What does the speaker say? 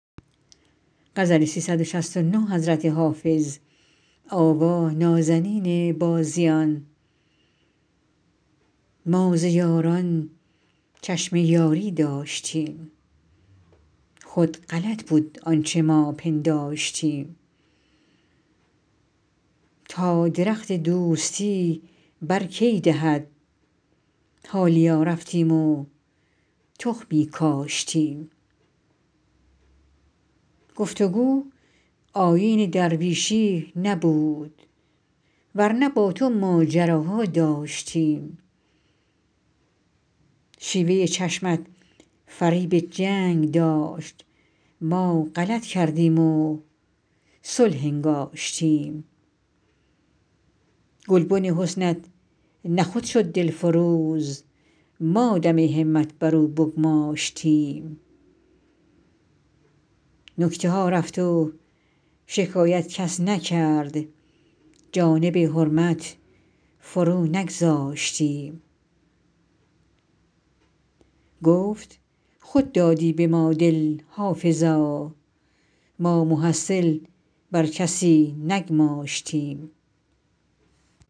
ما ز یاران چشم یاری داشتیم خود غلط بود آنچه ما پنداشتیم تا درخت دوستی بر کی دهد حالیا رفتیم و تخمی کاشتیم گفت و گو آیین درویشی نبود ور نه با تو ماجراها داشتیم شیوه چشمت فریب جنگ داشت ما غلط کردیم و صلح انگاشتیم گلبن حسنت نه خود شد دلفروز ما دم همت بر او بگماشتیم نکته ها رفت و شکایت کس نکرد جانب حرمت فرو نگذاشتیم گفت خود دادی به ما دل حافظا ما محصل بر کسی نگماشتیم